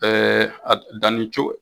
Ɛɛ a dugudani co